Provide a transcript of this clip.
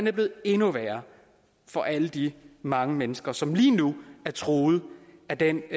er blevet endnu værre for alle de mange mennesker som lige nu er truet af den